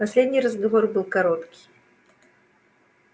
последний разговор был короткий